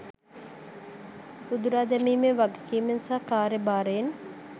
උදුරා දැමීමේ වගකීමෙන් සහ කාර්ය භාරයෙන්